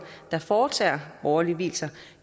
der foretager borgerlige vielser